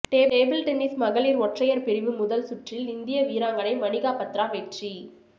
table tennis மகளிர் ஒற்றையர் பிரிவு முதல் சுற்றில் இந்திய வீராங்கனை மனிகா பத்ரா வெற்றி